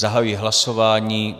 Zahajuji hlasování.